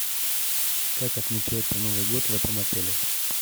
как отмечается новый год в этом отеле